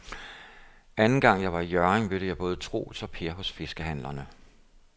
Anden gang jeg var i Hjørring, mødte jeg både Troels og Per hos fiskehandlerne.